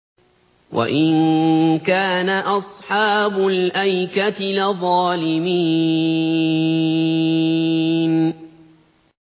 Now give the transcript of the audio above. وَإِن كَانَ أَصْحَابُ الْأَيْكَةِ لَظَالِمِينَ